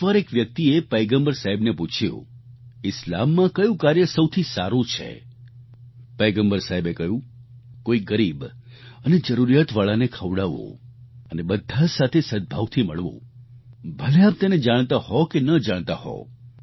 એકવાર એક વ્યક્તિએ પયગમ્બર સાહેબને પૂછ્યું ઈસ્લામમાં કયું કાર્ય સૌથી સારું છે પયગમ્બર સાહેબે કહ્યું કોઈ ગરીબ અને જરૂરિયાતવાળાને ખવડાવવું અને બધા સાથે સદભાવથી મળવું ભલે આપ તેને જાણતા હો કે ન જાણતા હો